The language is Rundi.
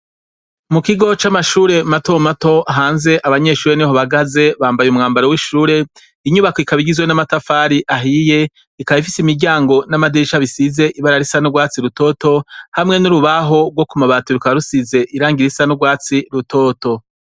Mukigo c’amashure mato mato hanze abanyeshure niho bahagaze, bambaye umwambaro w’ishure, inyubako ikaba igizwe n’amatafari ahiye, ikaba ifise imiryango n’amadirisha bisize ibara risa n’urwatsi rutoto hamwe n’urubaho gwo kumabati rukaba rusize irangi nugwatsi rutoto.